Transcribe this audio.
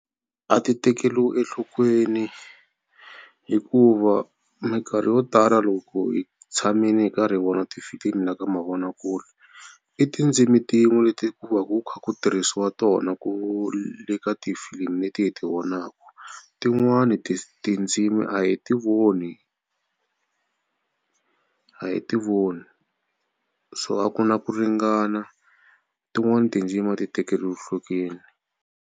A ti tekeriwi enhlokweni hikuva mikarhi yo tala loko hi tshamile hi karhi vona tifilimi la ka mavonakule i tindzimi tin'we leti ku va ku kha ku tirhisiwa tona ku le ka tifilimi leti hi ti vonaku. Tin'wani tindzimi a hi ti voni a hi ti voni so a ku na ku ringana tin'wani tindzimi a ti tekeriwi nhlokweni.